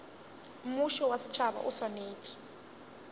mmušo wa setšhaba o swanetše